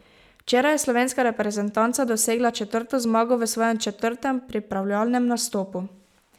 Včeraj je slovenska reprezentanca dosegla četrto zmago v svojem četrtem pripravljalnem nastopu.